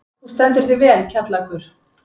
Þú stendur þig vel, Kjallakur!